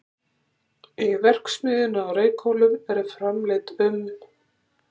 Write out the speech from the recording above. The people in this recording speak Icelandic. Í verksmiðjunni á Reykhólum eru framleidd um